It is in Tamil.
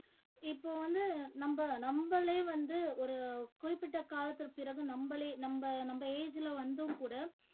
இப்போ வந்து நம்ம நம்மளே வந்து ஒரு குறிப்பிட்ட காலத்துக்கு பிறகு நம்மளே நம்ம நம்ம age ல வந்தும் கூட